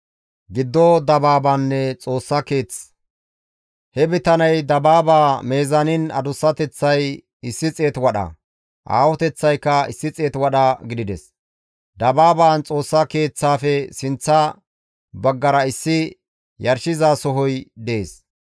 He bitaney dabaaba mizaaniin adussateththay 100 wadha, aahoteththaykka 100 wadha gidides. Dabaabaan Xoossa Keeththaafe sinththa baggara issi yarshizasohoy dees.